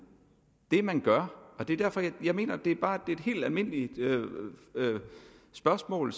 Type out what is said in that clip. det er det man gør jeg mener at det bare er et helt almindeligt spørgsmål